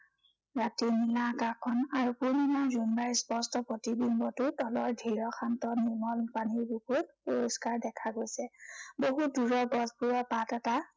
ৰাতি নীলা আকাশখন আৰু পূৰ্ণিমাৰ জোনবাইৰ স্পষ্ট প্ৰতিবিম্বটো তলৰ ধীৰ শান্ত নিৰ্মল পানীৰ বুকুত পৰিস্কাৰ দেখা গৈছে। বহুত দূৰৰ গছবোৰৰ পাত এটা